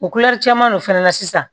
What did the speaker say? O caman de fɛnɛ na sisan